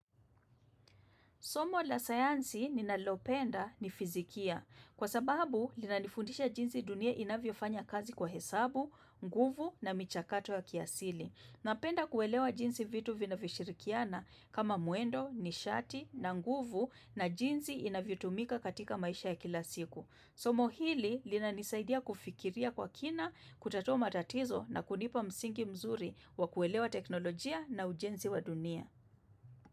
Somo la sayansi ninalopenda ni fizikia kwa sababu linanifundisha jinsi dunia inavyofanya kazi kwa hesabu, nguvu na michakato ya kiasili. Napenda kuelewa jinsi vitu vinavyoshirikiana kama mwendo, nishati na nguvu na jinsi inavyotumika katika maisha ya kila siku. Somo hili linanisaidia kufikiria kwa kina, kutatua matatizo na kunipa msingi mzuri wa kuelewa teknolojia na ujenzi wa dunia.